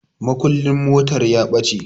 Mukullin motar ya ɓace